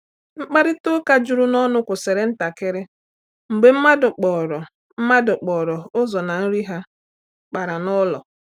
Mkparịta ụka juru n’ọnụ kwụsịrị ntakịrị mgbe mmadụ kpọrọ mmadụ kpọrọ ụzọ na nri ha kpara n’ụlọ.